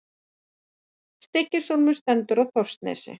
Stykkishólmur stendur á Þórsnesi.